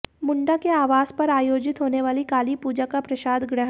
मुंडा के आवास पर आयोजित होने वाली कालीपूजा का प्रसाद ग्रहण